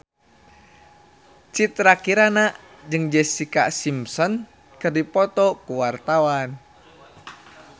Citra Kirana jeung Jessica Simpson keur dipoto ku wartawan